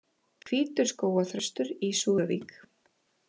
Hvítur skógarþröstur í Súðavík